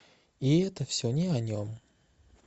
и это все не о нем